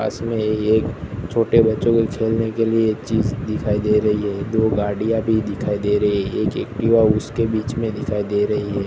पास में ही एक छोटे बच्चों के खेलने के लिए एक चीज दिखाई दे रही है दो गाड़ियां भी दिखाई दे रही है एक एक्टिवा उसके बीच में दिखाई दे रही है।